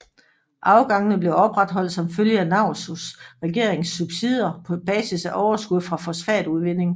Afgangene blev opretholdt som følge af Naurus regerings subsidier på basis af overskud fra fosfatudvinding